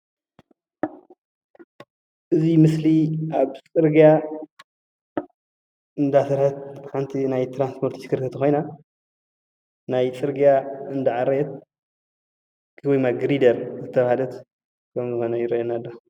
እዚ ምስሊ ኣብ ፅርግያ እንዳሰርሓት ሓንቲ ናይ ትራንስፖርት ተሽከርከርቲ ኮይና ናይ ፅርግያ እንዳኣዕረየት ወይ ድማ ግሪደል ዝተባሃለት ከም ዝኮነ ይረአየና ኣሎ፡፡